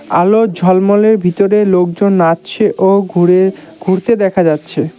আলোর ঝলমলের ভিতরে লোকজন নাচছে ও ঘুরে ঘুরতে দেখা যাচ্ছে।